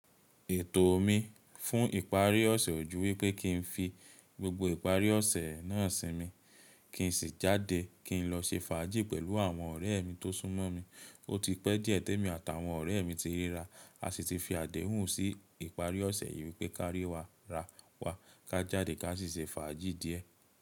Ètò mi fún ìparí ọ̀sẹ̀ ojú wípé kí n fi gbogbo ìparí ọ̀sẹ̀ náà sí mi, kí n sì jáde kí n lọ ṣe fàájì pẹ̀lú àwọn ọ̀rẹ́ mi tó súnmọ́ mi. Ó ti pẹ́ díẹ̀ tẹ́mi àtàwọn ọ̀rẹ́ mi ti ríra, a sì ti fi àdéhùn sí ìparí ọ̀sẹ̀ yìí wípé kárí wa ra wa, ká jáde ká sì ṣe fàájì díẹ̀.